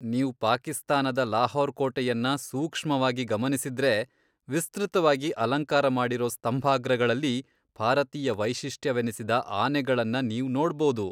ನೀವ್ ಪಾಕಿಸ್ತಾನದ ಲಾಹೋರ್ ಕೋಟೆಯನ್ನ ಸೂಕ್ಷವಾಗಿ ಗಮನಿಸಿದ್ರೆ, ವಿಸ್ತೃತವಾಗಿ ಅಲಂಕಾರ ಮಾಡಿರೋ ಸ್ತಂಭಾಗ್ರಗಳಲ್ಲಿ ಭಾರತೀಯ ವೈಶಿಷ್ಟ್ಯವೆನಿಸಿದ ಆನೆಗಳನ್ನ ನೀವ್ ನೋಡ್ಬದು.